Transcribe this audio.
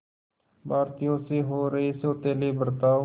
भारतीयों से हो रहे सौतेले बर्ताव